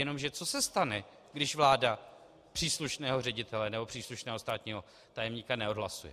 Jenomže co se stane, když vláda příslušného ředitele nebo příslušného státního tajemníka neodhlasuje?